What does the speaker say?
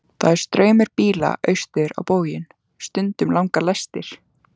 Það er straumur bíla austur á bóginn, stundum langar lestir.